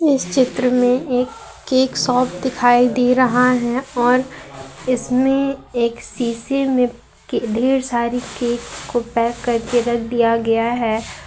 इस चित्र में एक केक शॉप दिखाई दे रहा है और इसमें एक शीशे मैं ढेर सारी केक को पैक करके रख दिया गया है।